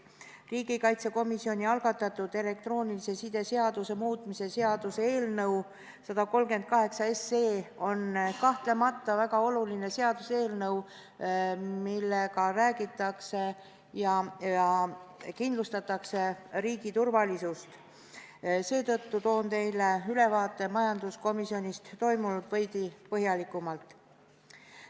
Riigikaitsekomisjoni algatatud elektroonilise side seaduse muutmise seaduse eelnõu 138 on kahtlemata väga oluline seaduseelnõu, millega kindlustatakse riigi turvalisust, seetõttu esitan teile majanduskomisjonis toimunust ülevaate veidi põhjalikumalt.